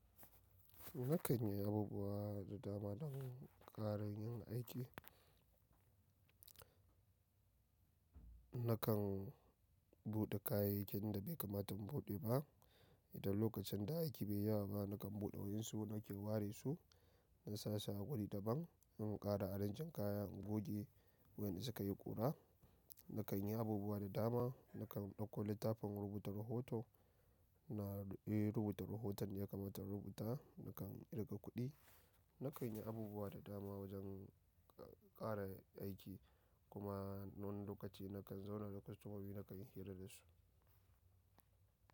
Nakan yi abubuwa da dama don ƙarin yin aiki. Nakan buɗe kayayyakin da bai kamata in buɗe ba. Idan lokacin da aiki bai yawa ba, nakan buɗe wa'insu nake ware su, na sa su a wuri daban. In ƙara arranging kayan, in goge wurin da suka yi ƙura. Nakan yi abubuwa da dama. Nakan ɗauko littafin rubuta rahoto na, eh rubuta rahoton da ya kamata in rubuta. Nakan ƙirga kuɗi. Nakan yi abubuwa da dama wajen ƙara aiki kuma wani n lokaci nakan zauna da kostomomi nakan hira da su.